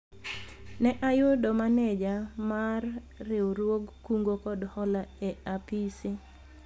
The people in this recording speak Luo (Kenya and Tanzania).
ne ayudo maneja mar riwruog kungo kod hola e apise